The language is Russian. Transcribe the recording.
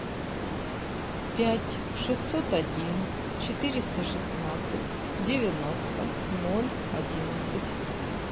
пять шестьсот один четыреста шестнадцать девяносто ноль одиннадцать